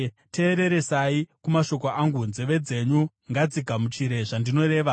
Teereresai kumashoko angu, nzeve dzenyu ngadzigamuchire zvandinoreva.